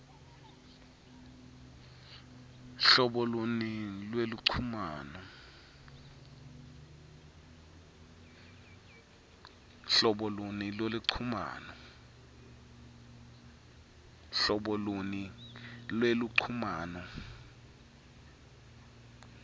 hlobo luni lweluchumano